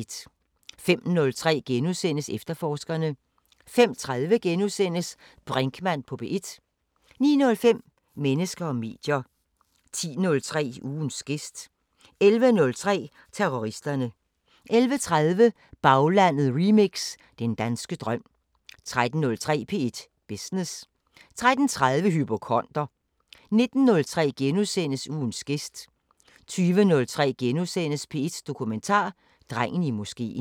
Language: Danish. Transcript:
05:03: Efterforskerne * 05:30: Brinkmann på P1 * 09:05: Mennesker og medier 10:03: Ugens gæst 11:03: Terroristerne 11:30: Baglandet remix: Den danske drøm 13:03: P1 Business 13:30: Hypokonder 19:03: Ugens gæst * 20:03: P1 Dokumentar: Drengen i moskeen *